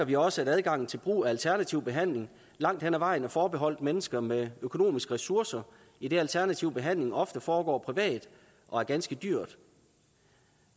vi også at adgangen til brug af alternativ behandling langt hen ad vejen er forbeholdt mennesker med økonomiske ressourcer idet alternativ behandling ofte foregår privat og er ganske dyr